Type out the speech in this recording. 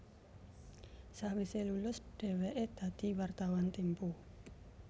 Sewise lulus dheweke dadi wartawan Tempo